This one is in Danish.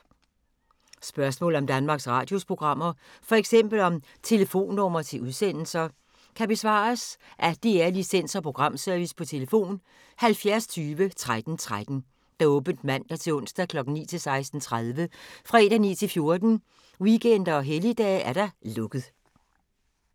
Spørgsmål om Danmarks Radios programmer, f.eks. om telefonnumre til udsendelser, kan besvares af DR Licens- og Programservice: tlf. 70 20 13 13, åbent mandag-torsdag 9.00-16.30, fredag 9.00-14.00, weekender og helligdage: lukket.